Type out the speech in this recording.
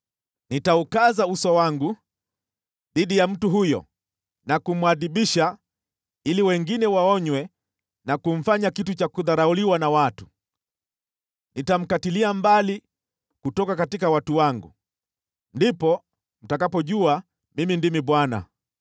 Nitaukaza uso wangu dhidi ya mtu huyo na kumwadhibu na kumfanya ishara kwa watu. Nitamkatilia mbali kutoka watu wangu. Ndipo mtakapojua kuwa Mimi ndimi Bwana .